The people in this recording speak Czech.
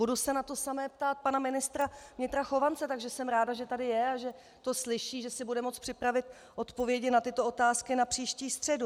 Budu se na to samé ptát pana ministra vnitra Chovance, takže jsem ráda, že tady je a že to slyší, že si bude moci připravit odpovědi na tyto otázky na příští středu.